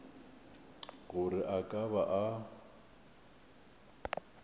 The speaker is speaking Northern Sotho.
gore a ka ba a